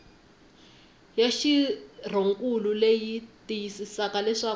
ya xirhonkulu leyi tiyisisaka leswaku